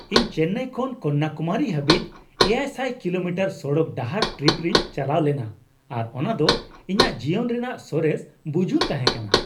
ᱤᱧ ᱪᱮᱱᱱᱟᱭ ᱠᱷᱚᱱ ᱠᱚᱱᱱᱟᱠᱩᱢᱟᱨᱤ ᱦᱟᱹᱵᱤᱡ ᱗᱐᱐ ᱠᱤᱞᱳᱢᱤᱴᱟᱨ ᱥᱚᱲᱚᱠ ᱰᱟᱦᱟᱨ ᱴᱨᱤᱯ ᱨᱮᱧ ᱪᱟᱞᱟᱣ ᱞᱮᱱᱟ ᱟᱨ ᱚᱱᱟ ᱫᱚ ᱤᱧᱟᱹᱜ ᱡᱤᱭᱚᱱ ᱨᱮᱱᱟᱜ ᱥᱚᱨᱮᱥ ᱵᱩᱡᱩᱱ ᱛᱟᱦᱮᱸ ᱠᱟᱱᱟ ᱾